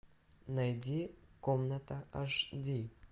найди комната аш ди